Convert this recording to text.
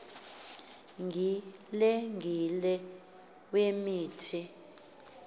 gile gile wemithi